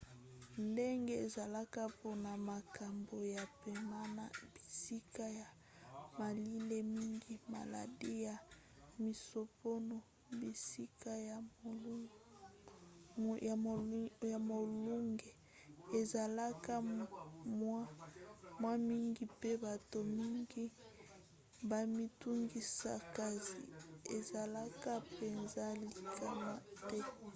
ndenge ezalaka mpona makambo ya pema na bisika ya malili mingi maladi ya misompona bisika ya molunge ezalaka mwa mingi mpe bato mingi bamitungisaka kasi ezalaka mpenza likama te